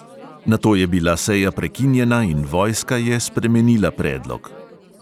Nato je bila seja prekinjena in vojska je spremenila predlog.